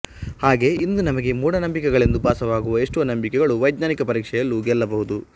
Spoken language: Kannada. ಹಾಗೆ ಇಂದು ನಮಗೆ ಮೂಢನಂಬಿಕೆಗಳೆಂದು ಭಾಸವಾಗುವ ಎಷ್ಟೋ ನಂಬಿಕೆಗಳು ವೈಜ್ಞಾನಿಕ ಪರೀಕ್ಷೆಯಲ್ಲೂ ಗೆಲ್ಲಬಹುದು